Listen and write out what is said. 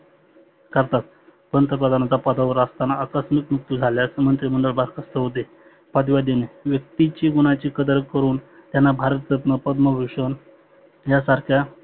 करतात. पंतप्रधानाच्या पदावर असताना आकस्मीत मृत्यु झाल्यास मंत्रीमंडळ बर्खास्थ होते. व्यक्तीची गुणाची कदर करुण त्यांना भारत रत्न पद्मभुषन ह्या सारख्या